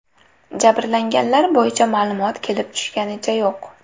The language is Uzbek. Jabrlanganlar bo‘yicha ma’lumot kelib tushganicha yo‘q.